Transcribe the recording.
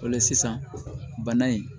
O la sisan bana in